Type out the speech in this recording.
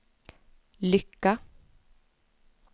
lycka